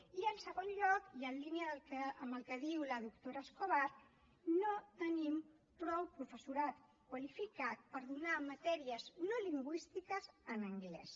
i en segon lloc i en línia amb el que diu la doctora escobar no tenim prou professorat qualificat per donar matèries no lingüístiques en anglès